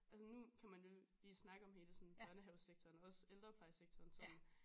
Altså nu kan man jo lige snakke om hele sådan børnehavesektoren og også ældreplejesektoren som